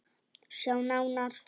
Sjá nánar